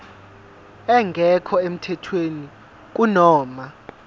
engekho emthethweni kunoma